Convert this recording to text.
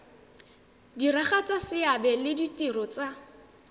diragatsa seabe le ditiro tsa